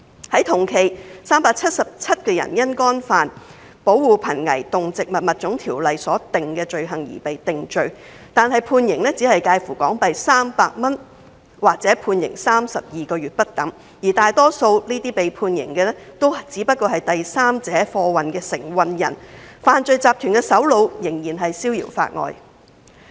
在同期 ，377 人因干犯《保護瀕危動植物物種條例》所訂的罪行而被定罪，但判刑只介乎罰款300港元或判監32個月不等，而大多數被判刑的只屬代第三者運貨的承運人，犯罪集團的首腦仍然逍遙法外。